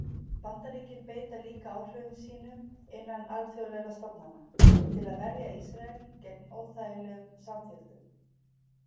Bandaríkin beita líka áhrifum sínum innan alþjóðlegra stofnana til að verja Ísrael gegn óþægilegum samþykktum.